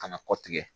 Ka na kɔ tigɛ